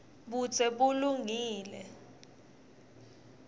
budze bulungile